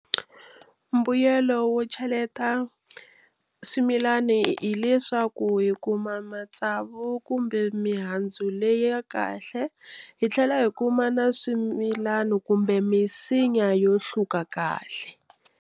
Mbuyelo wo cheleta swimilana hileswaku yi kuma matsavu kumbe mihandzu leyi ya kahle hi tlhela hi kuma na swimilana kumbe misinya yo hluka kahle.